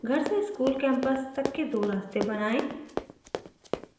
घर से school campus तक के दो रास्तें बनाएं